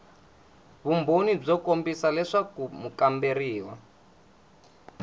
vumbhoni byo kombisa leswaku mukamberiwa